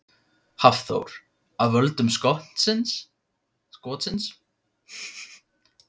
Hafþór: Af völdum skotsins?